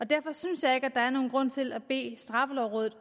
derfor synes jeg ikke der er nogen grund til at bede straffelovrådet